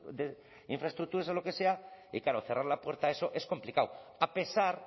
de infraestructuras o lo que sea y claro cerrar la puerta a eso es complicado a pesar